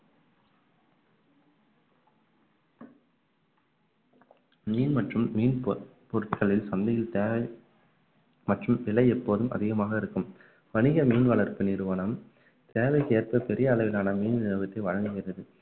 மீன் மற்றும் மீன் பொ~ பொருட்கள் சந்தையில் தேவை மற்றும் விலை எப்போதும் அதிகமாக இருக்கும் வணிக மீன் வளர்ப்பு நிறுவனம் தேவைக்கேற்ப பெரிய அளவிலான மீன் விநியோகத்தை வழங்குகிறது